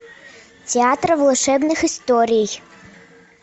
театр волшебных историй